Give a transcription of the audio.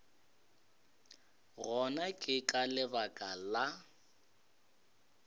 gona ke ka lebaka la